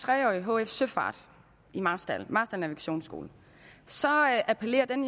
tre årige hf søfart i marstal på marstal navigationsskole så appellerer den